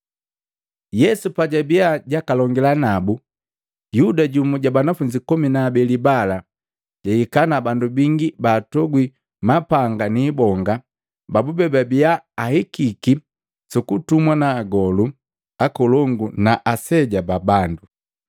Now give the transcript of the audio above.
Yesu pajabiya jakalongila nabu, Yuda jumu ja banafunzi komi na abeli bala, jahika na bandu bingi baatogwi mapanga na ibonga babube babiya ahikiki sukutumwa na agolu akolongu na aseja babandu.